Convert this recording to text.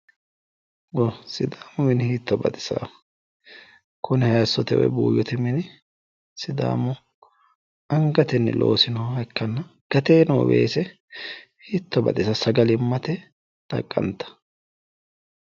Sidaamu mini hiitto baxisaaho kuni hayiissote woy buuyyote mini sidaamu angatenni loosinoha ikkanna gateenni noo weese hiitto baxisawo sagalimmate xaqqantawo.